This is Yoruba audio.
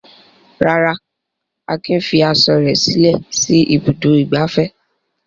Rárá, Akin fi aṣọ rẹ̀ sílẹ̀ sí Ibùdó-ìgbafẹ́.